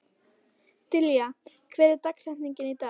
Dilja, hver er dagsetningin í dag?